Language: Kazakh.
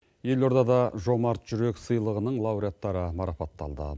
елордада жомарт жүрек сыйлығының лауреаттары марпатталды